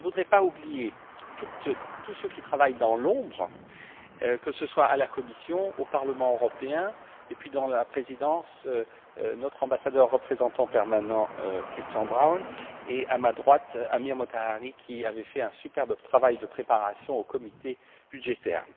Je ne voudrais pas oublier tous ceux qui travaillent dans l'ombre, que ce soit à la Commission, au Parlement européen, ainsi qu'à la présidence, notre ambassadeur représentant permanent Christian Braun, et à ma droite, Amir Motahari, qui avait fait un superbe travail de préparation au sein du comité budgétaire.